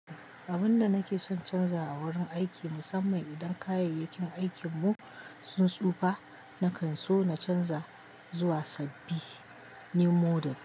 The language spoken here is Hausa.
Abun da nake son canza a wurin aiki musamman idan kayayyakin aikin mu sun tsufa, nakan so na canza zuwa sabbin new model.